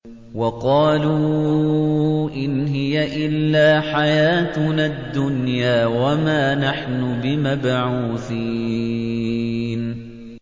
وَقَالُوا إِنْ هِيَ إِلَّا حَيَاتُنَا الدُّنْيَا وَمَا نَحْنُ بِمَبْعُوثِينَ